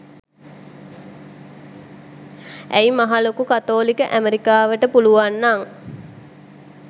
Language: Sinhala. ඇයි මහ ලොකු කතෝලික ඇමරිකාවට පුළුවන්නං